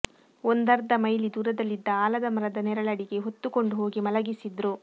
ಒಂದರ್ಧ ಮೈಲಿ ದೂರದಲ್ಲಿದ್ದ ಆಲದ ಮರದ ನೆರಳಡಿಗೆ ಹೊತ್ತು ಕೊಂಡು ಹೋಗಿ ಮಲಗಿಸಿದ್ರು